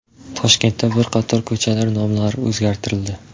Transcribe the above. Toshkentda bir qator ko‘chalar nomlari o‘zgartirildi.